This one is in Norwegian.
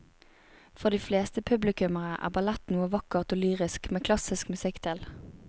For de fleste publikummere er ballett noe vakkert og lyrisk med klassisk musikk til.